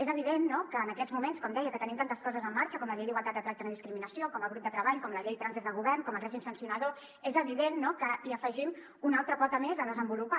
és evident no que en aquests moments com deia que tenim tantes coses en marxa com la llei d’igualtat de tracte i no discriminació com el grup de treball com la llei trans des del govern com el règim sancionador és evident que hi afegim una altra pota més a desenvolupar